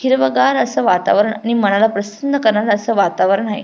हिरवगार अस वातावरण आणि मनाला प्रसन्न करणार अस वातावरण आहे.